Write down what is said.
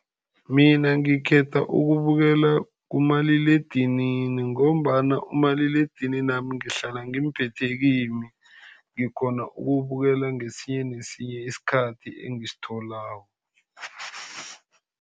Mina ngikhetha ukubukela kumaliledinini, ngombana umaliledininami ngihlala ngimphethe kimi. Ngikghona ukubukela ngesinye nesinye isikhathi engisitholako.